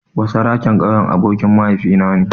Basaraken ƙauyen abokin mahaifina ne.